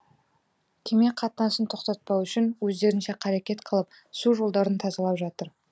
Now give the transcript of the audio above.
кеме қатынасын тоқтатпау үшін өздерінше қарекет қылып су жолдарын тазалап жатыр